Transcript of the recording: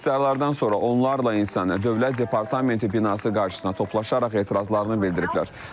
İxtisarlardan sonra onlarla insan Dövlət Departamenti binası qarşısına toplaşaraq etirazlarını bildiriblər.